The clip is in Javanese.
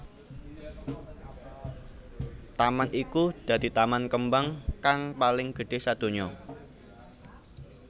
Taman iku dadi taman kembang kang paling gedhé sadonya